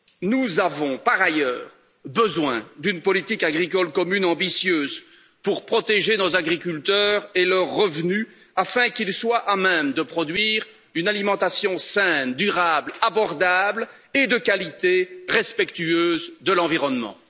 Nous avons, par ailleurs, besoin d'une politique agricole commune ambitieuse pour protéger nos agriculteurs et leurs revenus afin qu'ils soient à même de produire une alimentation saine, durable, abordable et de qualité, respectueuse de l'environnement.